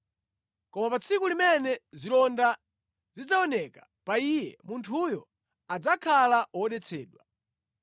Koma pa tsiku limene zilonda zidzaoneka pa iye, munthuyo adzakhala wodetsedwa.